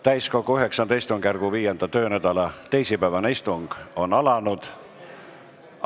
Täiskogu IX istungjärgu 5. töönädala teisipäevane istung on alanud.